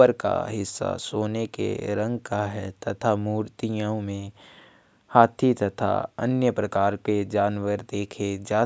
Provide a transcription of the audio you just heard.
ऊपर का हिस्सा सोने के रंग का है तथा मूर्तियों में हाथी तथा अन्य प्रकार के जानवर देखे जा--